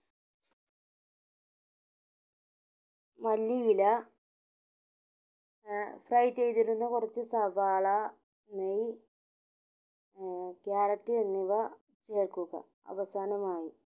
മല്ലിയില ഏർ fry ചെയ്തിരുന്ന കൊറച്ച് സവാള നെയ്യ് ഏർ ക്യാരറ്റ് എന്നിവ ചേർക്കുക അവസാനമായി